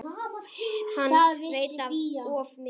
Hann veit of mikið.